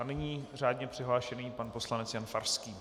A nyní řádně přihlášený pan poslanec Jan Farský.